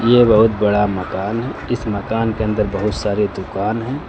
यह बहोत बड़ा मकान है इस मकान के अंदर बहुत सारे दुकान है।